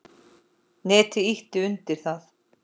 Netið ýti undir það.